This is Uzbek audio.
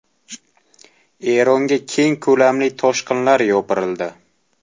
Eronga keng ko‘lamli toshqinlar yopirildi.